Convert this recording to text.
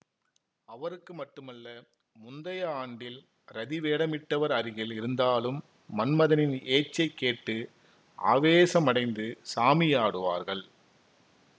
அவருக்கு மட்டுமல்ல முந்தைய ஆண்டில் ரதி வேடமிட்டவர் அருகில் இருந்தாலும் மன்மதனின் ஏச்சைக் கேட்டு ஆவேசமடைந்து சாமியாடுவார்கள்